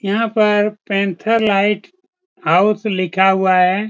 यहां पर panther lighthouse लिखा हुआ है।